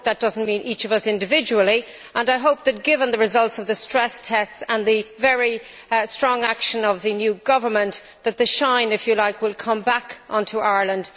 I hope that does not mean each of us individually, and I hope that, given the results of the stress tests and the very strong action of the new government, the shine will come back to Ireland.